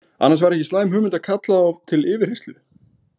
Annars væri ekki slæm hugmynd að kalla þá til yfirheyrslu.